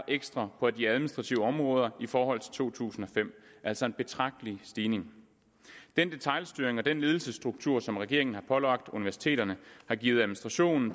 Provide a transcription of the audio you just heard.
ekstra på de administrative områder i forhold til to tusind og fem altså en betragtelig stigning den detailstyring og den ledelsesstruktur som regeringen har pålagt universiteterne har givet administrationen